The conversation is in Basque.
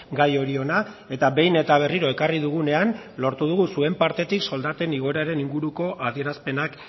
gai hori hona eta behin eta berriro ekarri dugunean lortu dugu zuen partetik soldaten igoeraren inguruko adierazpenak